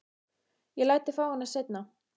Ég læt þig fá hana seinna.